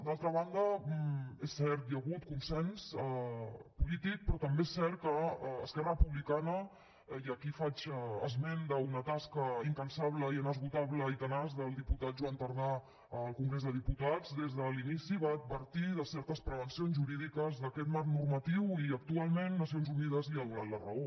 d’altra banda és cert hi ha hagut consens polític però també és cert que esquerra republicana i aquí faig esment d’una tasca incansable i inesgotable i tenaç del diputat joan tardà al congrés de diputats des de l’inici va advertir de certes prevencions jurídiques d’aquest marc normatiu i actualment nacions unides li ha donat la raó